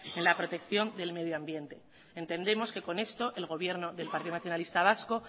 en la protección del medio ambiente entendemos que con esto el gobierno del partido nacionalista vasco